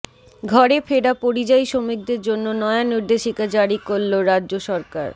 ঘরে ফেরা পরিযায়ী শ্রমিকদের জন্য নয়া নির্দেশিকা জারি করল রাজ্য সরকার